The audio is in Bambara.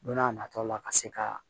Don n'a nataw la ka se ka